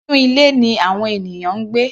Inú ilé ni àwọn ènìyàn ń gbé.